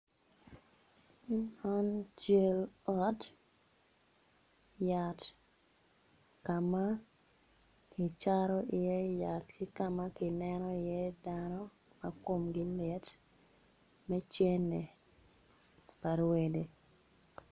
Man cal ot yat ka ma kicato iye yat ki ka ma kineno iye dano ma komgi lit me cene pa rwede.